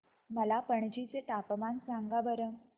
मला पणजी चे तापमान सांगा बरं